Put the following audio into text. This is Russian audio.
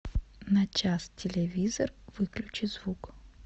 на час телевизор выключи звук